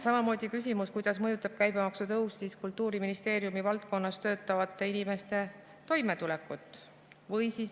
Samamoodi küsimus, kuidas mõjutab käibemaksu tõus Kultuuriministeeriumi valdkonnas töötavate inimeste toimetulekut.